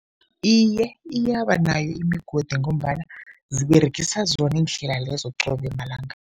Iye, iyaba nayo imigodi ngombana ziberegisa zona iindlela lezo qobe malanga.